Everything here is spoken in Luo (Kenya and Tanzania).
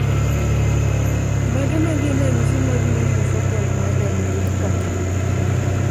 Mage magin ranyisi mag multifocal motor neuropathy?